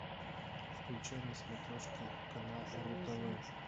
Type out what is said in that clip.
включай на смотрешке канал ру тв